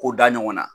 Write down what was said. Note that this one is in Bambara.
K'o da ɲɔgɔn na